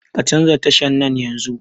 Ka canza tashan nan yanzun